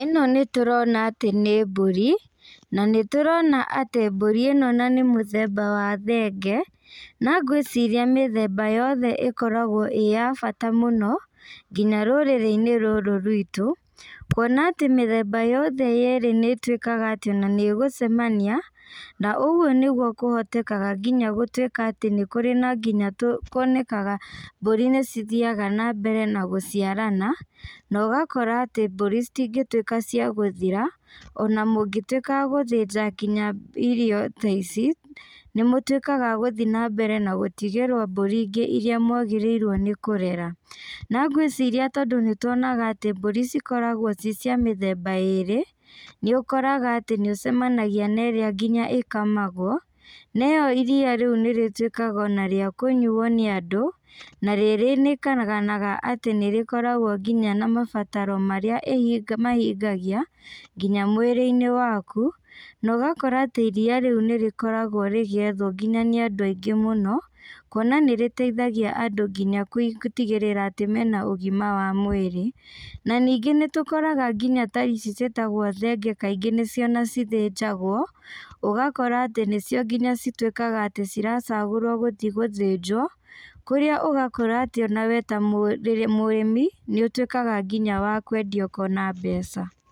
Ĩno nĩtũrona atĩ nĩ mbũri, na nĩtũrona atĩ mbũri ĩno ona nĩmũthemba wa thenge, na ngwĩciria mĩthemba yothe ĩkoragwo ĩ ya bata mũno, nginya rũrĩrĩinĩ rũrũ rwitũ, kuona atĩ mĩthemba yothe ĩrĩ nĩtuĩkaga atĩ ona nĩgũcemania, na ũguo nĩguo kũhotekaga nginya gũtuĩka atĩ nĩkũrĩ na nginya nĩkuonekaga mbũri nĩcithiaga nambere na gũciarana, na ũgakora atĩ mbũri citingĩtuĩka cia gũthira, ona mũngĩtuĩka a gũthĩnja nginya irio ta ici, nĩmũtuĩkaga a gũthi nambere na gũtigĩrwo mburi ingĩ iria mwagĩrĩirwo nĩ kũrera, na ngwĩciria tondũ nĩtuonaga atĩ mbũri cikoragwo ci cia mĩthemba ĩrĩ, nĩũkoraga atĩ nĩũcemanagia na ĩrĩa nginya ĩkamagwo, na ĩyo iria rĩu nĩrĩtuĩkaga ona rĩa kũnyuo nĩ andũ, na rĩrĩkanaga atĩ nĩrĩkoragwo na mabataro marĩa ĩhinga mahingagia, nginya mwĩrĩinĩ waku, na ũgakora atĩ iria rĩũ nĩrĩkoragwo rĩgĩethwo nginya nĩ andũ aingĩ mũno, kuona nĩrĩteithagia andũ nginya gũtigĩrĩra atĩ mena ũgima wa mwĩrĩ, na ningĩ nĩtũkoraga nginya ta ici ciĩtagwo thenge kaingĩ nĩcio ona cithĩnjagwo, ũgakora atĩ nĩcio nginya cituĩkaga atĩ ciracagũrwo gũthi gũthĩnjwo, kũrĩa ũgakora atĩ onawe ta mũ mũrĩmi, nĩũtuĩkaga nginya wa kwendia ũkona mbeca.